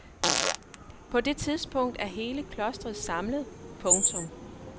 På det tidspunkt er hele klostret samlet. punktum